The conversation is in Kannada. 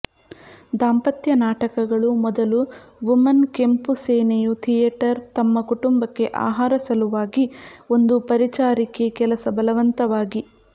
ದಾಂಪತ್ಯ ನಾಟಕಗಳು ಮೊದಲು ವುಮನ್ ಕೆಂಪು ಸೇನೆಯು ಥಿಯೇಟರ್ ತಮ್ಮ ಕುಟುಂಬಕ್ಕೆ ಆಹಾರ ಸಲುವಾಗಿ ಒಂದು ಪರಿಚಾರಿಕೆ ಕೆಲಸ ಬಲವಂತವಾಗಿ